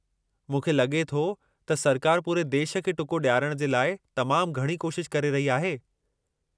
मूंखे लॻे थो त सरकार पूरे देश खे टुको ॾियारण जे लाइ तमामु घणी कोशिश करे रही आहे।